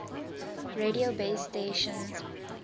radio base stations